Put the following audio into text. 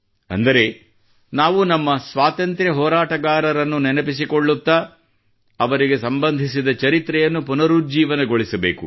ಅಂದರೆ ನಾವು ನಮ್ಮ ಸ್ವಾತಂತ್ರ್ಯ ಹೋರಾಟಗಾರರನ್ನು ನೆನಪಿಸಿಕೊಳ್ಳುತ್ತಾ ಅವರಿಗೆ ಸಂಬಂಧಿಸಿದ ಚರಿತ್ರೆಯನ್ನು ಪುನರುಜ್ಜೀವಗೊಳಿಸಬೇಕು